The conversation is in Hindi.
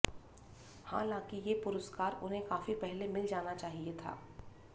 हालाँकि ये पुरस्कार उन्हें काफी पहले मिल जाना चाहिए था